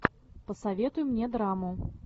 посоветуй мне драму